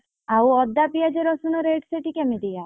ଆଉ ଅଦା ପିଆଜ ରସୁଣ rate ସେଠି କେମିତିଆ?